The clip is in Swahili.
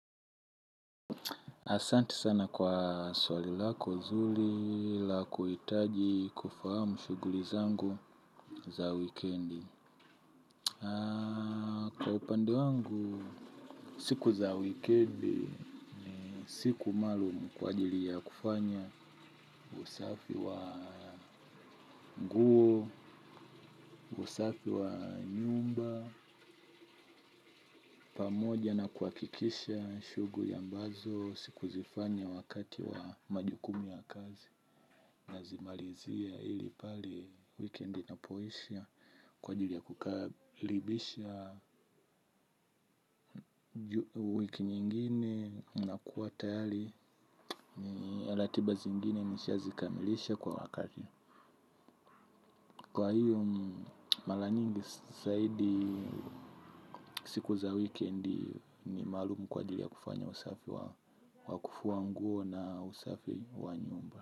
Asanti sana kwa swali lako nzuri la kuhitaji kufahamu shughuli zangu za wikendi. Kwa upande wangu, siku za wikendi, ni siku maalumu kwa ajili ya kufanya usafi wa nguo, usafi wa nyumba, pamoja na kuhakikisha shughuli ambazo sikuzifanya wakati wa majukumu ya kazi. Nazimalizia ili pale wikendi inapo isha kwa ajili ya kukalibisha wiki nyingine na kuwa tayari na ratiba zingine nisha zikamilisha kwa wakati. Kwa hiyo mara nyingi zaidi siku za wikendi ni maalumu kwa ajili ya kufanya usafi wa wa kufua nguo na usafi wa nyumba.